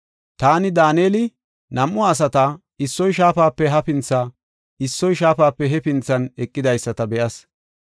Taani, Daaneli, nam7u asata, issoy shaafape hafintha, issoy shaafape hefinthan eqidaysata be7as.